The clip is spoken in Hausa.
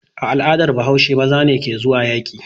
A al'adar Bahaushe maza ne ke zuwa yaƙi.